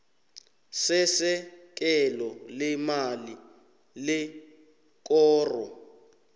sesekelo leemali lekoro